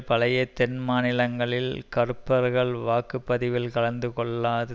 பழைய தென் மாநிலங்களில் கருப்பர்கள் வாக்கு பதிவில் கலந்து கொள்ளாது